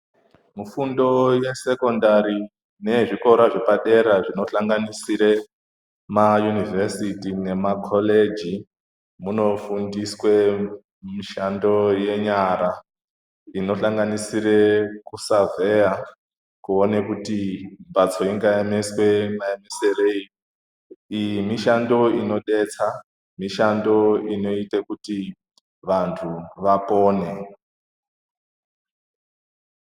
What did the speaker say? Fundo yesekondari neyezvikora zvepadera zvinohlanganisire mayunivhesiti nemakoreji. Munofundiswe mishando yenyara inohlanganisire kusavheya kuona kuti mbatso inoemeswe maemeserei. Iyi mishando inobetsa mishando inoite kuti vantu vapone.